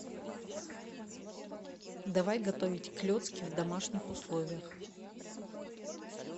давай готовить клецки в домашних условиях